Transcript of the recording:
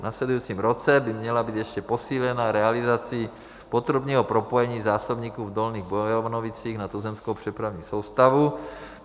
V následujícím roce by měla být ještě posílena realizací potrubního propojení zásobníků v Dolních Bojanovicích na tuzemskou přepravní soustavu.